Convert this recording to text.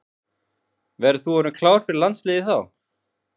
Verður þú orðinn klár fyrir landsliðið þá?